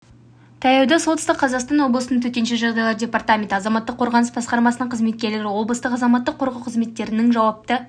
таяуда солтүстік қазақстан облысының төтенше жағдайлар департаменті азаматтық қорғаныс басқармасының қызметкерлері облыстық азаматтық қорғау қызметтерінің жауапты